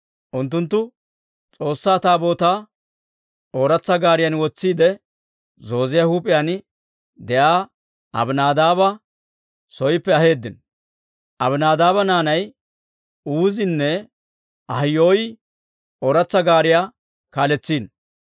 Unttunttu S'oossaa Taabootaa ooratsa gaariyan wotsiide, zooziyaa huup'iyaan de'iyaa Abinaadaaba sooppe aheeddino; Abinaadaaba naanay Uuzinne Ahiyoy ooratsa gaariyaa kaaletsino.